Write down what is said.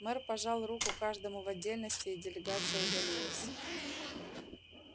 мэр пожал руку каждому в отдельности и делегация удалилась